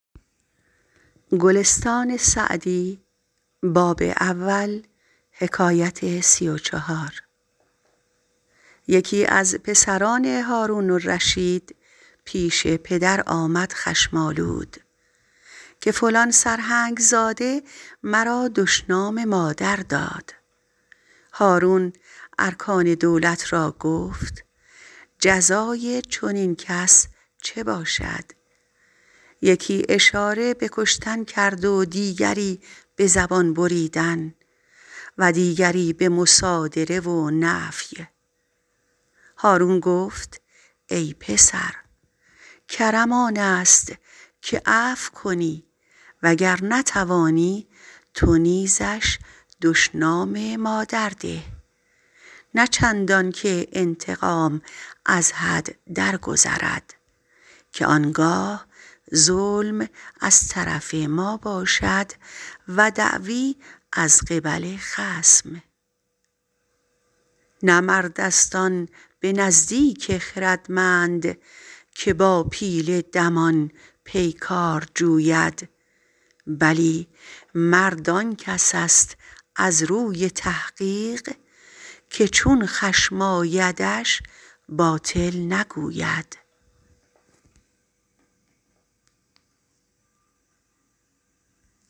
یکی از پسران هارون الرشید پیش پدر آمد خشم آلود که فلان سرهنگ زاده مرا دشنام مادر داد هارون ارکان دولت را گفت جزای چنین کس چه باشد یکی اشاره به کشتن کرد و دیگری به زبان بریدن و دیگری به مصادره و نفی هارون گفت ای پسر کرم آن است که عفو کنی و گر نتوانی تو نیزش دشنام مادر ده نه چندان که انتقام از حد درگذرد آن گاه ظلم از طرف ما باشد و دعوی از قبل خصم نه مرد است آن به نزدیک خردمند که با پیل دمان پیکار جوید بلی مرد آن کس است از روی تحقیق که چون خشم آیدش باطل نگوید